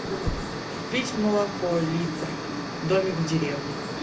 купить молоко литр домик в деревне